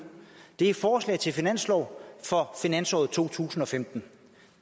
er forslag til finanslov for finansåret to tusind og femten